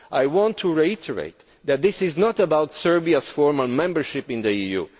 I want to reiterate that this is not about Serbiaʼs formal membership of the EU.